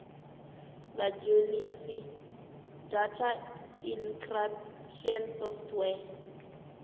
vha dzhenise data encryption software